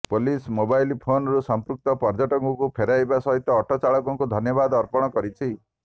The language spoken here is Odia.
ପୁଲିସ ମୋବାଇଲ୍ ଫୋନ୍କୁ ସଂପୃକ୍ତ ପର୍ଯ୍ୟଟକଙ୍କୁ ଫେରାଇବା ସହିତ ଅଟୋ ଚାଳକଙ୍କୁ ଧନ୍ୟବାଦ ଅର୍ପଣ କରିଛି